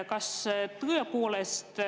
Kuulutan välja juhataja vaheaja, 30 minutit.